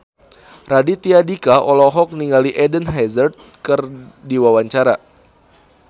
Raditya Dika olohok ningali Eden Hazard keur diwawancara